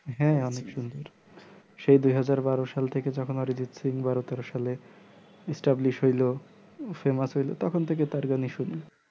হ্যাঁ অনেক সুন্দর সেই দুইহাজার বারো সাল থেকে যখন Arijit sing বারো তেরো সালে establish হইলো famous হইলো তখন থেকে তার গানই শুনি